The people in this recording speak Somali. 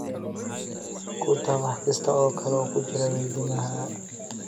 ku tax wax kasta oo kale oo ku jira weydiimahayga